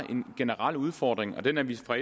en generel udfordring og den er vi fra